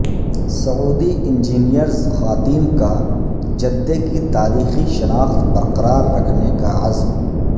سعودی انجینیئرزخواتین کا جدہ کی تاریخی شناخت برقرار رکھنے کا عزم